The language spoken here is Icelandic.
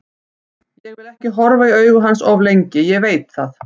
Ég vil ekki horfa í augu hans of lengi, ég veit það.